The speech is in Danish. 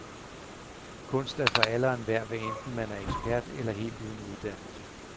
Kunst er for alle og enhver, hvad enten man er ekspert eller helt uden uddannelse.